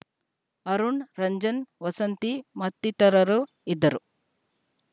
ಅರುಣ್‌ ರಂಜನ್‌ ವಸಂತಿ ಮತ್ತಿತರರು ಇದ್ದರು